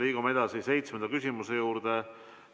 Liigume edasi seitsmenda küsimuse juurde.